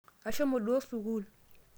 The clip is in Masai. ashomo duo sukul